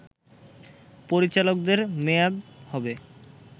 পরিচালকদের মেয়াদ হবে